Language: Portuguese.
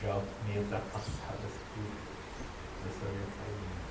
Já meio ultrapassadas que eu sabia fazer, né?